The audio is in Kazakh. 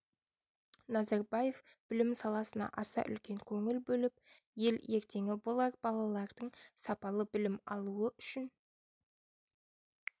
назарбаев білім саласына аса үлкен көңіл бөліп ел ертеңі болар балалардың сапалы білім алуы үшін